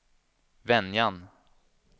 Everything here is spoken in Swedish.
Venjan